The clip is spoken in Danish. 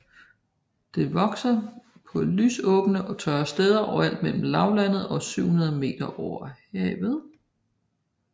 Det vokser på lysåbne og tørre steder overalt mellem lavlandet og 700 m over havet